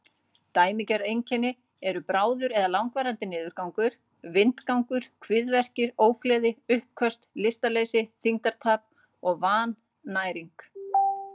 Dæmigerð einkenni eru bráður eða langvarandi niðurgangur, vindgangur, kviðverkir, ógleði, uppköst, lystarleysi, þyngdartap og vannæring.